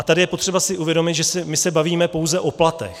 A tady je potřeba si uvědomit, že my se bavíme pouze o platech.